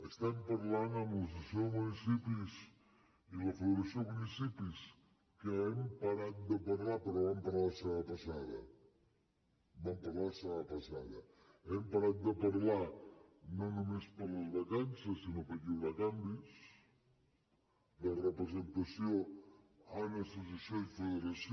estem parlant amb l’associació de municipis i la federació de municipis que hi hem parat de parlar però hi vam parlar la setmana passada hi vam parlar la setmana passada hi hem parat de parlar no només per les vacances sinó perquè hi haurà canvis de representació a l’associació i la federació